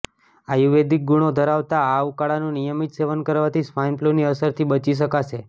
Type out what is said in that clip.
આયુર્વેદિક ગુણો ધરાવતા આ ઉકાળનું નિયમિત સેવન કરવાથી સ્વાઈનફ્લૂની અસરથી બચી શકાશે